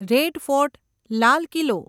red Fort લાલ કિલ્લો